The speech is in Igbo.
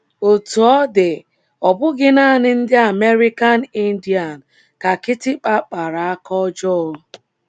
Otú ọ dị, ọ bụghị nanị ndị American Indian ka kịtịkpa kpara aka ọjọọ.